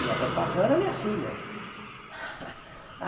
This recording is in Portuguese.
Minha preocupação era a minha filha.